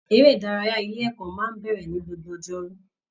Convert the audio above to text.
Eré ìdárayá ilé ẹ̀kọ́ máa n bẹrẹ ní gbogbo ọjọ́rú